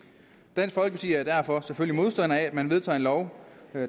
dansk folkeparti er derfor selvfølgelig modstandere af at man vedtager en lov